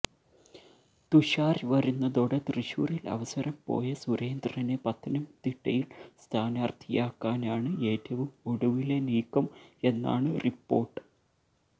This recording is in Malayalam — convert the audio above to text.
തുഷാര് വരുന്നതോടെ തൃശൂരിൽ അവസരം പോയ സുരേന്ദ്രനെ പത്തനംതിട്ടയിൽ സ്ഥാനാര്ത്ഥിയാക്കാനാണ് ഏറ്റവും ഒടുവിലെ നീക്കം എന്നാണ് റിപ്പോര്ട്ട്